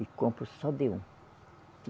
E compro só de um.